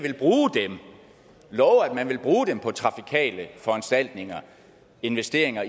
love at bruge dem på trafikale foranstaltninger investeringer